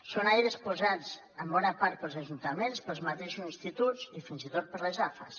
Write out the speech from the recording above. són aires posats en bona part pels ajuntaments pels mateixos instituts i fins i tot per les afas